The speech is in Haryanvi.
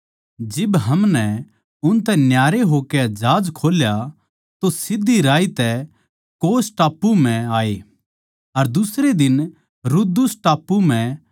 जिब हमनै उनतै न्यारे होकै जहाज खोल्या तो सीध्धी राही तै कोस टापू म्ह आये अर दुसरे दिन रुदुस टापू म्ह अर ओड़ै तै पतरा टापू म्ह